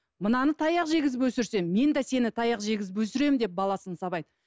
мынаны таяқ жегізіп өсірсе мен де сені таяқ жегізіп өсіремін деп баласын сабайды